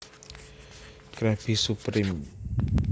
Krabby Surpreme